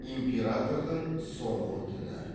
императордың соңғы түні